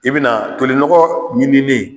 I bena tolinɔgɔ ɲinilen